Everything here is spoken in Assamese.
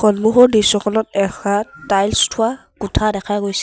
সন্মুখৰ দৃশ্যখনত এখা টাইলছ থোৱা কোঠা দেখা গৈছে।